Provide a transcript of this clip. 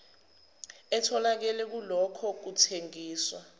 etholakele kulokho kuthengiswa